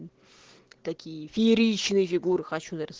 такие фееричные фигуры хочу нарис